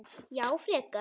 Já frekar.